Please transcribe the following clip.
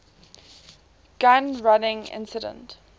gun running incident